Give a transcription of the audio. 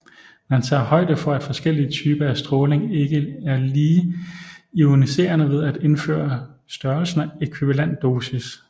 Man tager højde for at forskellige typer af stråling ikke er lige ioniserende ved at indføre størrelsen ækvivalent dosis